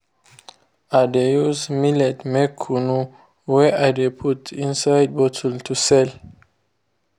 i de use millet make kunu wey i de put inside bottle to sell.